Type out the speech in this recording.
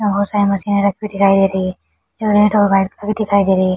यहाँ बहुत सारी मशीने रखी हुई दिखाई दे रही है। दिखाई दे रही है।